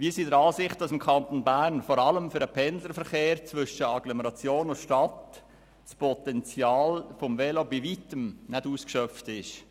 Wir sind der Ansicht, dass im Kanton Bern das Potenzial des Velos vor allem für den Pendlerverkehr zwischen Agglomeration und Stadt bei Weitem nicht ausgeschöpft ist.